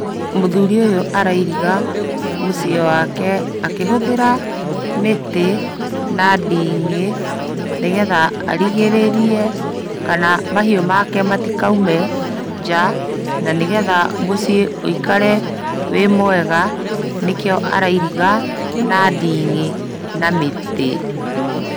Mũthuri ũyũ arairiga mũciĩ wake akĩhũthĩra mĩtĩ na ndĩng'ĩ, nĩgetha arigĩrĩrie mahiũ make matikaũme nja na nĩgetha mũciĩ wĩikare wĩ mwega, nĩkĩo arairiga na ndĩng'ĩ, na mĩtĩ.